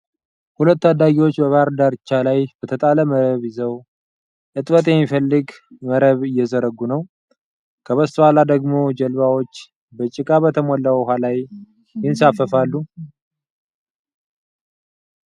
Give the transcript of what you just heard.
ሁለት ታዳጊዎች በባህር ዳርቻ ላይ በተጣለ መረብ ይዝው፣ እጥበት የሚፈልግ መረብ እየዘረጉ ነው። ከበስተኋላ ደግሞ ጀልባዎች በጭቃ በተሞላው ውሃ ላይ ይንሳፈፋሉ።